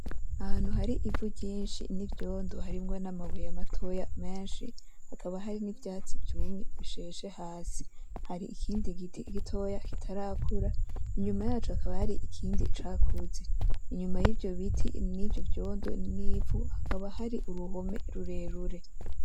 Ahantu hari ivu ryinshi n'ivyondo harimwo n'amabuye matoya menshi hakaba hari n'ivyatsi vyumye bisheshe hasi. Hari ikindi giti gitoya kitarakura inyuma yaco hakaba hari ikindi cakuze. inyuma y'ivyo biti nivyo vyondo n'ivu hakaba hari uruhome rurerure.